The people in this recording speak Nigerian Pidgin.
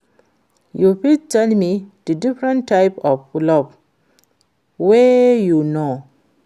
you fit tell me di difference types of love wey you know?